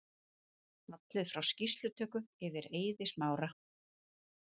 Fallið frá skýrslutöku yfir Eiði Smára